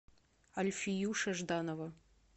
альфиюша жданова